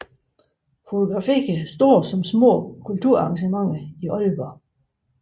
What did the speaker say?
Fotograferer store som små kulturarrangementer i Aalborg